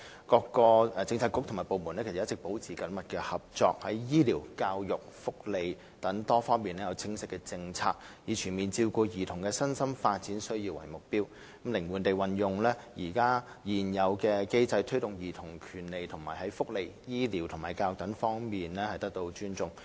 各政策局和部門一直保持緊密合作，在醫療、教育及福利等多方面有清晰的政策，以全面照顧兒童的身心發展需要為目標，靈活地運用現時的機制推動兒童權利在福利、醫療及教育等各方面得到尊重。